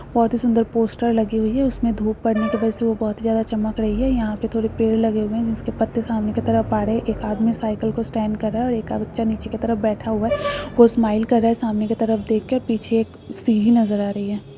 बहुत ही सुन्दर पोस्टर लगी हुयी है उसमे धुप पड़ने की वजह से वो बहुत ही ज्यादा चमक रही है यहां पे थोड़े पेड़ लगे हुए है जिसके पत्ते सामने की तरफ पड़े एक आदमी साइकिल की स्टैंड कर रहा है और एक बच्चा नीचे की तरफ बैठा हुआ है वो स्माइल कर रहा है सामने की तरफ देख के पीछे एक सीढ़ी नजर आ रही है।